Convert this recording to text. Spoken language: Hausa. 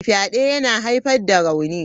Fyade yana haifar da rauni.